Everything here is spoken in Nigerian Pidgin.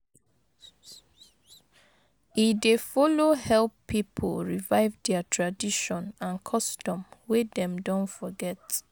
E dey follow help pipo revive dia tradition and custom wey dem don forget